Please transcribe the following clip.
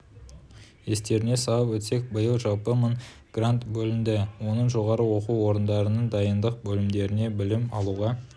естеріңізге салып өтсек биыл жалпы мың грант бөлінді оның жоғары оқу орындарының дайындық бөлімдеріне білім алуға